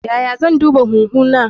Yaya zan duba huhu na?